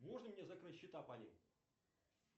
можно мне закрыть счета по ним